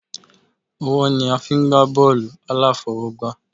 Ọwọ́ ni a fí ń gbà bọọlu aláfọwọ́gbá